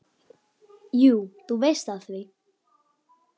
Jú, þú veist það víst.